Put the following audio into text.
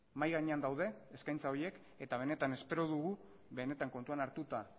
mahai gainean daude eskaintza horiek eta benetan espero dugu benetan kontuan hartuta